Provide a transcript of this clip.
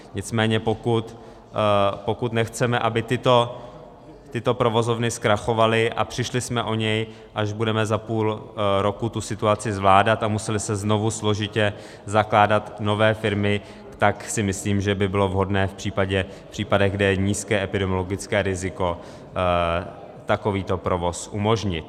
Nicméně pokud nechceme, aby tyto provozovny zkrachovaly a přišli jsme o ně, až budeme za půl roku tu situaci zvládat, a musely se znovu složitě zakládat nové firmy, tak si myslím, že by bylo vhodné v případech, kde je nízké epidemiologické riziko, takovýto provoz umožnit.